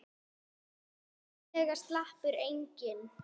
Svo billega sleppur enginn.